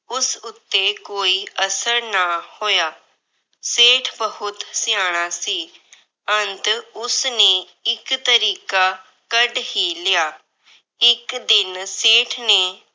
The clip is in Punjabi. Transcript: ਉਸ ਉਤੇ ਕੋਈ ਅਸਰ ਨਾ ਹੋਇਆ। ਸੇਠ ਬਹੁਤ ਸਿਆਣਾ ਸੀ। ਅੰਤ ਉਸਨੇ ਇੱਕ ਤਰੀਕਾ ਕੱਢ ਹੀ ਲਿਆ। ਇੱਕ ਦਿਨ ਸੇਠ ਨੇ ਆਪਣੇ ਪੁੱਤਰ ਨੂੰ ਆਪਣੇ ਕੋਲ ਬੁਲਾਇਆ। ਉਸਨੇ